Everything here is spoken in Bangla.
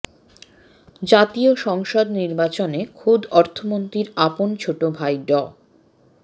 জাতীয় সংসদ নির্বাচনে খোদ অর্থমন্ত্রীর আপন ছোট ভাই ড